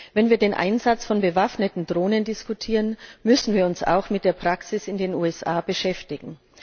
Wenn wir den Einsatz von bewaffneten Drohnen diskutieren, müssen wir uns auch mit der Praxis in den USA beschäftigen.